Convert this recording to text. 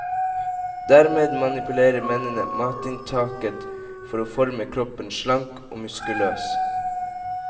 Dermed manipulerer mennene matinntaket for å forme kroppen slank og muskuløs.